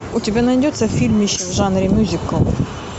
у тебя найдется фильмище в жанре мюзикл